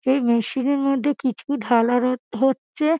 এই মেশিন -এর মধ্যে কিছু ঢালা রয়ে হচ্ছে ।